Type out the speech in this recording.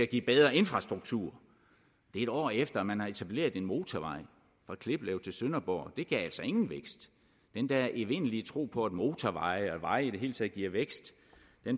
give bedre infrastruktur det er et år efter man har etableret en motorvej fra kliplev til sønderborg det gav altså ingen vækst den der evindelige tro på at motorveje og veje i det hele taget giver vækst